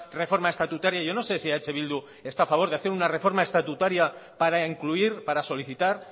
reforma estatutaria yo no sé si eh bildu está a favor de hacer una reforma estatutaria para incluir para solicitar